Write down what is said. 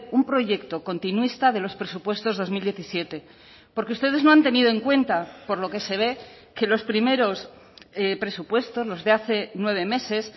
un proyecto continuista de los presupuestos dos mil diecisiete porque ustedes no han tenido en cuenta por lo que se ve que los primeros presupuestos los de hace nueve meses